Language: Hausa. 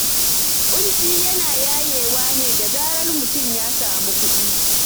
Ƙunci yana yayewa ne da zarar mutum ya samu kuɗi.